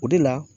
O de la